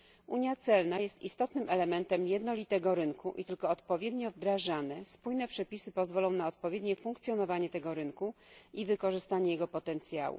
Unia celna jest istotnym elementem jednolitego rynku i tylko odpowiednio wdrażane, spójne przepisy pozwolą na odpowiednie funkcjonowanie tego rynku i wykorzystanie jego potencjału.